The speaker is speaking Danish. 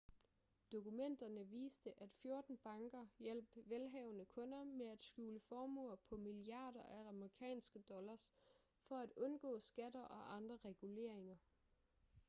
dokumenterne viste at 14 banker hjalp velhavende kunder med at skjule formuer på milliarder af amerikanske dollars for at undgå skatter og andre reguleringer